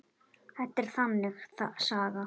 Þetta er þannig saga.